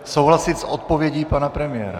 Souhlasit s odpovědí pana premiéra?